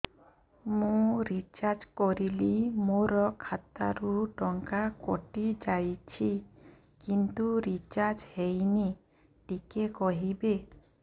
ମୁ ରିଚାର୍ଜ କରିଲି ମୋର ଖାତା ରୁ ଟଙ୍କା କଟି ଯାଇଛି କିନ୍ତୁ ରିଚାର୍ଜ ହେଇନି ଟିକେ କହିବେ